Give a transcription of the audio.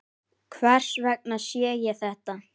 Hvers vegna sé ég þetta?